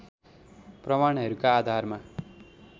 प्रमाणहरूका आधारमा